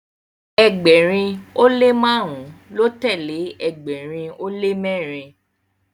ẹgbẹrin o le marun ló telee ẹgbẹrin o le mẹrin